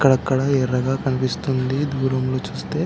అక్కడక్కడ ఎర్రగా కనిపిస్తుంది దూరంలో చుస్తే --